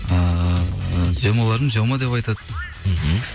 ыыы земаларым зема деп айтады мхм